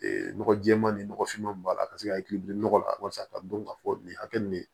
Ee nɔgɔ jɛɛman nin nɔgɔfinman b'a la ka se ka hakili nɔgɔ la walasa ka dɔn ka fɔ nin hakɛ nin de